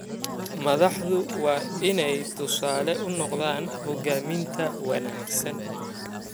Madaxdu waa inay tusaale u noqdaan hoggaaminta wanaagsan.